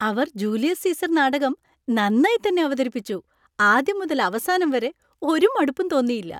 അവർ Julius Caesar നാടകം നന്നായി തന്നെ അവതരിപ്പിച്ചു. ആദ്യം മുതൽ അവസാനം വരെ ഒരു മടുപ്പും തോന്നിയില്ല.